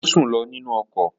Ó sùn lọ nínú ọkọ̀